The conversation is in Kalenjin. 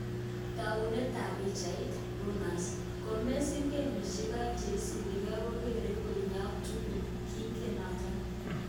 Taunet ab pichainik, Reuers " ngomesiir gemishek aeng cheisubigei kogerin konyeek tugul- kingen noto